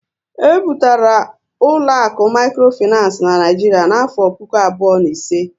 E bu batara ụlọaku mikrofinancé n'Naijiria n'afọ puku abụọ na ise